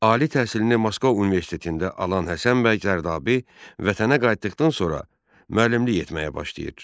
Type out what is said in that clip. Ali təhsilini Moskva universitetində alan Həsən bəy Zərdabi vətənə qayıtdıqdan sonra müəllimlik etməyə başlayır.